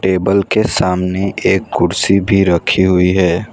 Table के सामने एक कुर्सी भी रखी हुई है।